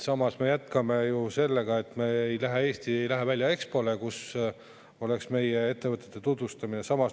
Samas, me jätkame sellega, et Eesti ei lähe Expole, kus saaks meie ettevõtteid tutvustada.